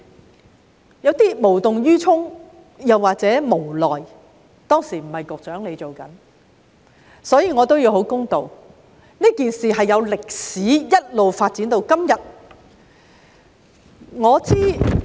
不知局方是無動於衷或無奈——當時並非由局長負責，我必須公道——這件事情是有歷史的，一直發展至今天。